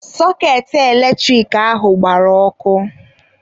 Sọketị eletrik ahụ agbara ọkụ.